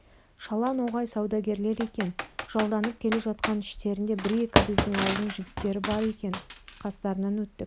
шала ноғай саудагерлер екен жалданып келе жатқан іштерінде бір-екі біздің ауылдың жігіттері бар екен қастарынан өттік